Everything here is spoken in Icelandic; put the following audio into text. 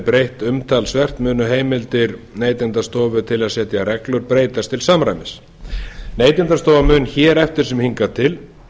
breytt umtalsvert munu heimildir neytendastofu til að setja reglur breytast til samræmis neytendastofa mun hér eftir sem hingað til